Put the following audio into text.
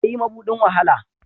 Ƙwaɗayi maɓuɗin wa hala.